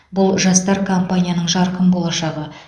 бұл жастар компанияның жарқын болашағы